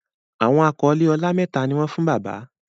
Awọn akọle ọlá méta ní wón fún bàbá.